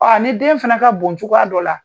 Ɔ ni den fana ka bon cogoya dɔ la